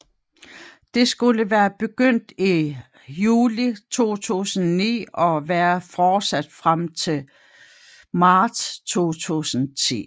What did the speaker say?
De skulle være begyndt i juli 2009 og være fortsat frem til marts 2010